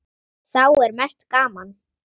Þá er mest gaman.